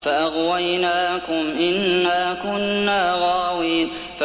فَأَغْوَيْنَاكُمْ إِنَّا كُنَّا غَاوِينَ